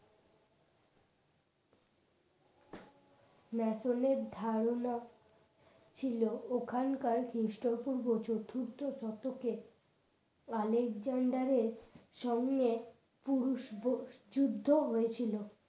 ম্যাসনের ধারণা ছিল ওখানকার খ্রিস্টপূর্ব চতুর্থ শতকে আলেকজান্ডারের সঙ্গে পুরুষ যুদ্ধ হয়েছিল